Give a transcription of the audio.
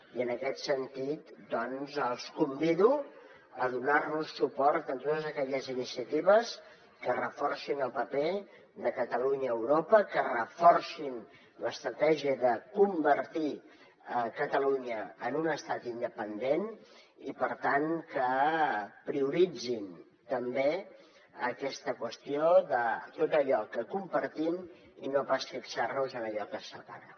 i en aquest sentit els convido a donarnos suport en totes aquelles iniciatives que reforcin el paper de catalunya a europa que reforcin l’estratègia de convertir catalunya en un estat independent i per tant que prioritzin també aquesta qüestió de tot allò que compartim i no pas de fixarnos en allò que ens separa